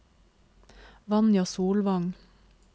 Vanja Solvang